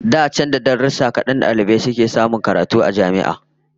Da can, da 'yan darussan kadan da aka ci a darussan sakandare, dalibai sun sassamu guraben karatu a jami'a